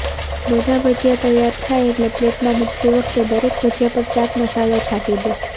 બધાં ભજીયા તૈયાર થાય એટલે પ્લેટમાં મૂકતી વખતે દરેક ભજીયા પર ચાટ મસાલો છાંટી દો